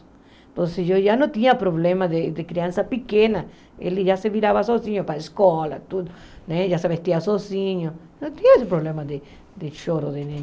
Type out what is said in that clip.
Então, eu já não tinha problema de de criança pequena, ele já se virava sozinho para a escola, tudo, né, já se vestia sozinho, não tinha esse problema de choro de neném.